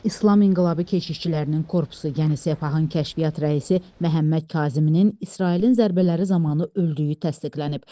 İslam inqilabı keçişçilərinin korpusu, yəni Sepahın Kəşfiyyat rəisi Məhəmməd Kazıminin İsrailin zərbələri zamanı öldüyü təsdiqlənib.